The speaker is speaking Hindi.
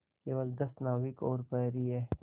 केवल दस नाविक और प्रहरी है